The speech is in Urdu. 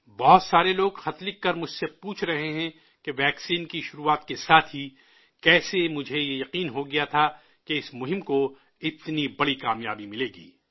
بہت سارے لوگ خط لکھ کر مجھ سے پوچھ رہے ہیں کہ ویکسین کی شروعات کے ساتھ ہی کیسے مجھے یہ یقین ہو گیا تھا کہ اس مہم کو اتنی بڑی کامیابی ملے گی